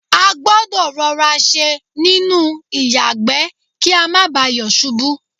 a gbọ́dọ̀ rọra ṣe nínú ìyàgbẹ́ kí a má bà yọ̀ ṣubú.